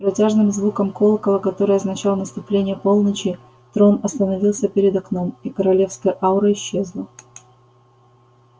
с протяжным звуком колокола который означал наступление полночи трон остановился перед окном и королевская аура исчезла